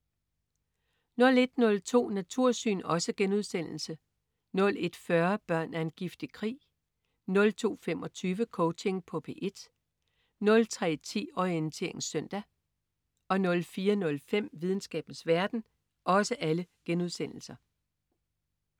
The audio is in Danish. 01.02 Natursyn* 01.40 Børn af en giftig krig* 02.25 Coaching på P1* 03.10 Orientering søndag* 04.05 Videnskabens verden*